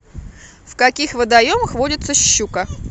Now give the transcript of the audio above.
в каких водоемах водится щука